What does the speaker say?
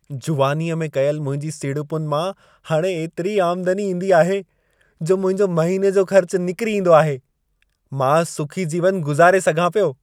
जुवानीअ में कयल मुंहिंजी सीड़पुनि मां हाणे एतिरी आमदनी ईंदी आहे, जो मुंहिंजो महिने जो ख़र्च निकिरी ईंदो आहे। मां सुखी जीवन गुज़ारे सघां पियो।